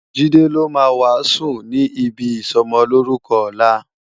Jide ló má wásùn ni ibi isòmòlórùkò òlá